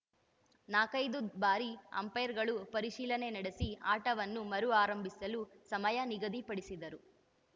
ನಾಲ್ಕೈದು ಬಾರಿ ಅಂಪೈರ್‌ಗಳು ಪರಿಶೀಲನೆ ನಡೆಸಿ ಆಟವನ್ನು ಮರು ಆರಂಭಿಸಲು ಸಮಯ ನಿಗದಿ ಪಡಿಸಿದರು